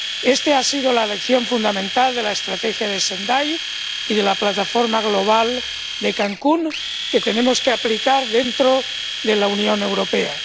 Esta ha sido la lección fundamental del Marco de Sendai y de la Plataforma Global de Cancún, que tenemos que aplicar dentro de la Unión Europea.